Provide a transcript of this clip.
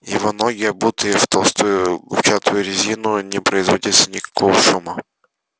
его ноги обутые в толстую губчатую резину не производили никакого шума